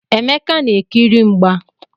Emeka na-ekiri mgba.